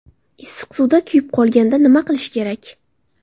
Issiq suvda kuyib qolganda nima qilish kerak?.